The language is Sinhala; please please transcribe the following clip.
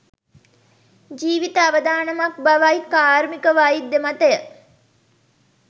ජීවීත අවදානමක් බවයි කාර්මිකවෛද්‍ය මතය